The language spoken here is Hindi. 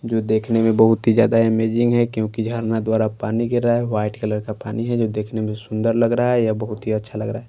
जो देखने में बहुत ही ज्यादा अमेजिंग है क्योंकि झरना द्वारा पानी गिर रहा है वाइट कलर का पानी है जो देखने में सुंदर लग रहा है या बहुत ही अच्छा लग रहा--